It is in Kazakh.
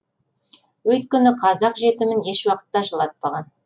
өйткені қазақ жетімін ешуақытта жылатпаған